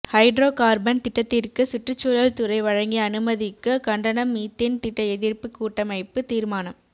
hydrocarbon திட்டத்திற்கு சுற்றுச்சூழல் துறை வழங்கிய அனுமதிக்கு கண்டனம் மீத்தேன் திட்ட எதிர்ப்பு கூட்டமைப்பு தீர்மானம்